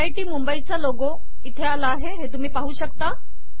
IIT मुंबईचा logo इथे आला हे तुम्ही पाहू शकता